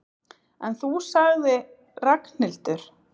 En þú sagði Ragnhildur.